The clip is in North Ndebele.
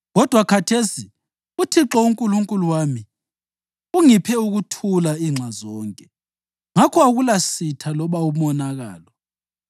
Kodwa khathesi uThixo uNkulunkulu wami ungiphe ukuthula inxa zonke, ngakho akulasitha loba umonakalo.